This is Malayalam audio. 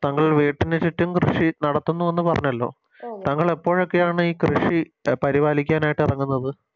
താങ്കൾ വീട്ടിനു ചുറ്റും കൃഷി നടത്തുന്നു എന്ന് പറഞ്ഞല്ലോ താങ്കളേപ്പോഴൊക്കെയാണ് ഈ കൃഷി പരിപാലിക്കാനായിട്ട് ഇറങ്ങുന്നത്